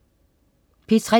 P3: